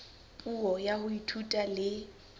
puo ya ho ithuta le